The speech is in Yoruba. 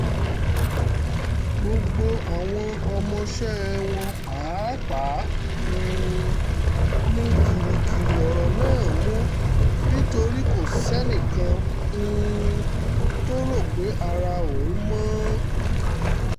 gbogbo àwọn ọmọọṣẹ́ wọn pàápàá um ni gìrìgìrì ọ̀rọ̀ náà mú nítorí kò sẹ́nì kan um tó rò pé ara òun mọ́